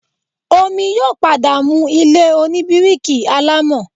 Omi yóò padà mu ilé oní bíríkì alámọ̀